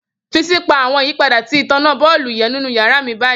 Fi si pa awọn yipada ti itanna boolubu ninu yara mi bayi!.